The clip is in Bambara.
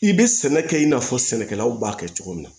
I bɛ sɛnɛ kɛ i n'a fɔ sɛnɛkɛlaw b'a kɛ cogo min na